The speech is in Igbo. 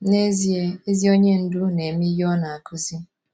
N’ezie, ezi onye ndú na - eme ihe ọ na - akụzi.